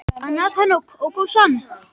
Það skiptir engu máli, sagði hún.